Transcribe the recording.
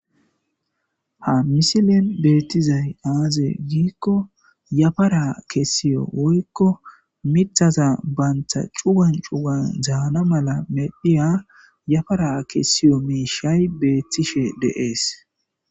Ha misilen beettizay aaze giikko yafara kessiyo woykko mithaza bantha cuwan cuwan zaana mala medhiya yafara kessiyo miishay beettishe deees.